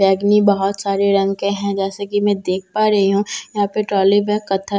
बहुत सारे रंग के हैं जैसे की मैं देख पा रही हूँ यहां पे ट्रॉली बैग --